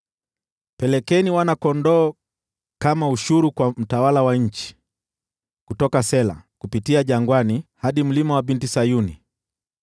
Pelekeni wana-kondoo kama ushuru kwa mtawala wa nchi, Kutoka Sela, kupitia jangwani, hadi mlima wa Binti Sayuni.